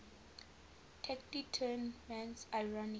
taciturn man's ironic